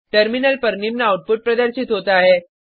terminal पर निम्न output प्रदर्शित होता है